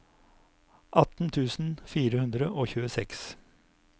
atten tusen fire hundre og tjueseks